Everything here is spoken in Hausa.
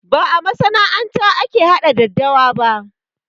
Ba a masana'anta ake haɗa daddawa ba